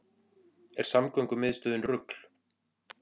Er samgöngumiðstöðin rugl